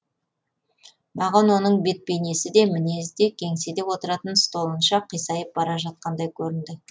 маған оның бет бейнесі де мінезі де кеңседе отыратын столынша қисайып бара жатқандай көрінді